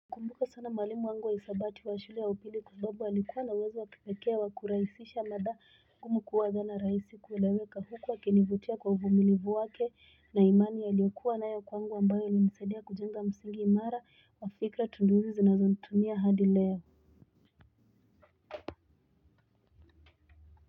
Kumbuka sana mwalimu wangu wa isabati wa shuli ya upili kwa sababu alikuwa na uwezo wa kipake wa kuraisisha mada ngumu kuwa zana raisi kueleweka huku akinivutia kwa uvumilivu wake na imani aliyokuwa nayo kwangu ambayo ilinisadia kujenga msingi imara wa fikra tundu izi zinazonitumia hadi leo.